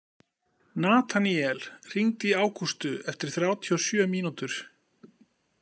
Nataníel, hringdu í Ágústu eftir þrjátíu og sjö mínútur.